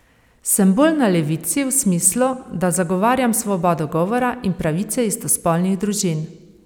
Sem bolj na levici v smislu, da zagovarjam svobodo govora in pravice istospolnih družin.